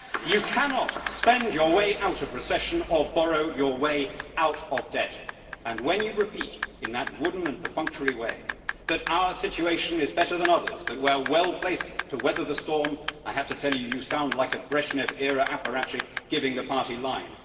You cannot spend your way out of recession or borrow your way out of debt, and when you repeat in that wooden and perfunctory way that our situation is better than others, that we are well placed to weather the storm, I have to say you sound like a Brezhnev era apparatchik giving the party line.